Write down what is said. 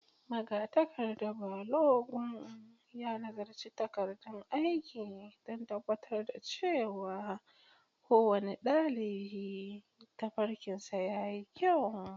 Magatakarda Balogun ya nazarci takardun aiki don tabbatar da cewa kowane ɗalibi tafarkinsa ya yi kyau.